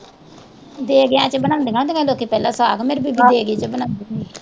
ਦੇਗਿਆ ਚ ਬਣਾਉਂਦੀਆਂ ਹੁੰਦੀਆ ਹੀ ਲੋਕੀ ਪਹਿਲਾ ਸਾਗ ਮੇਰੀ ਬੀਬੀ ਦੇਗੇ ਚ ਬਣਾਉਂਦੀ ਹੁੰਦੀ ਸੀ।